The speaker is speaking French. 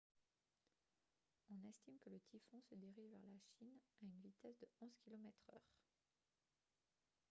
on estime que le typhon se dirige vers la chine à une vitesse de 11 km/h